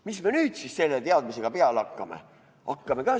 Mis me nüüd selle teadmisega peale hakkame?